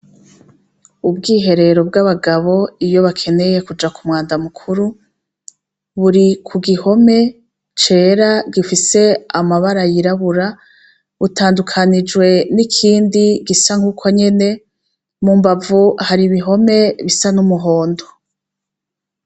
Ubwiherero bwabagabo iyo bakeneye kuja kumwanda mukuru buri kugihome cera gifise amabara yirabura utandukanijwe nikindi gisa nukonyene mumbavu hari ibihome bisa numuhondo